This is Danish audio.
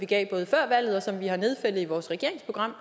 gav før valget og som vi har nedfældet i vores regeringsprogram